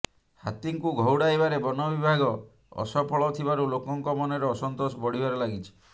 ହାତୀଙ୍କୁ ଘଉଡାଇବାରେ ବନବିଭାଗ ଅସଫଳ ଥିବାରୁ ଲୋକଙ୍କ ମନରେ ଅସନ୍ତୋଷ ବଢ଼ିବାରେ ଲାଗିଛି